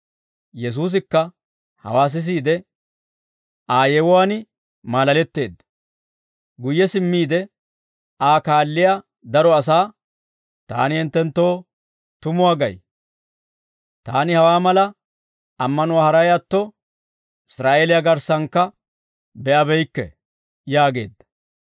Yesuusikka hawaa sisiide Aa yewuwaan maalaletteedda; guyye simmiide Aa kaalliyaa daro asaa, «Taani hinttenttoo tumuwaa gay; taani hawaa mala ammanuwaa haray atto, Israa'eeliyaa garssankka be'abeykke» yaageedda.